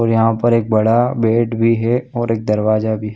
ओर यहाँ एक बड़ा बेड भी है और एक दरवाजा भी है।